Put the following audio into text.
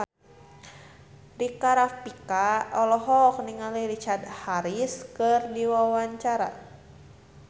Rika Rafika olohok ningali Richard Harris keur diwawancara